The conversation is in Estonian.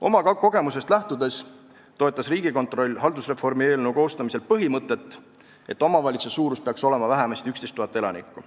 Oma kogemusest lähtudes toetas Riigikontroll haldusreformi eelnõu koostamisel põhimõtet, et omavalitsuse suurus peaks olema vähemasti 11 000 elanikku.